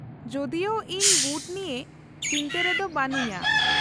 -ᱡᱚᱫᱤᱳ ᱤᱧ ᱵᱩᱴ ᱱᱤᱭᱟᱹ ᱪᱤᱱᱛᱟᱹ ᱨᱮᱫᱚ ᱵᱟᱹᱱᱩᱧᱟ ᱾